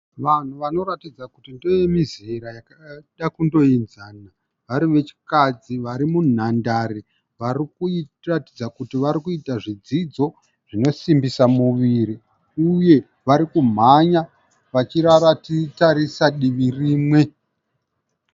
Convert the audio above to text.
Vanhu vanoratidza kuti ndevemizera yakada kundoenzana, vari vechikadzi vari munhandare vari kuratidza kuti varikuita zvidzidzo zvinosimbisa muviri uye varikumhanya vakatarisa divi rimwe.